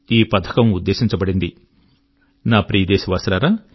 నా ప్రియదేశవాసులారా మీకు తెలిస్తే సంతోషిస్తారు